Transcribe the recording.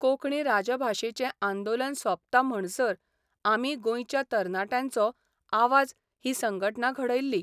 कोंकणी राजभाशेचें आंदोलन सोंपता म्हणसर आमी गोंयच्या तरणाट्यांचो आवाज 'ही संघटना घडयल्ली.